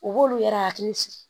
U b'olu yɛrɛ hakili sigi